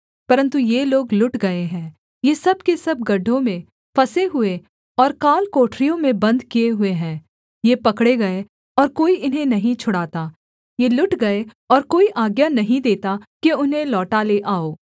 परन्तु ये लोग लुट गए हैं ये सब के सब गड्ढों में फँसे हुए और कालकोठरियों में बन्द किए हुए हैं ये पकड़े गए और कोई इन्हें नहीं छुड़ाता ये लुट गए और कोई आज्ञा नहीं देता कि उन्हें लौटा ले आओ